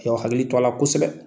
A y'aw hakili t'a la kosɛbɛ.